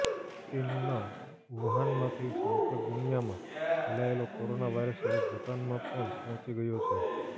ચીનના વુહાનમાંથી સમગ્ર દુનિયામાં ફેલાયેલો કોરોના વાયરસ હવે ભૂતાનમાં પણ પહોંચી ગયો છે